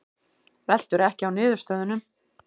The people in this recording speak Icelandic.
Veltur ekki á niðurstöðunum